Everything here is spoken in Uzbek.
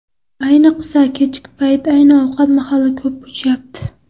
Ayniqsa, kechki payt ayni ovqat mahali ko‘p o‘chyapti.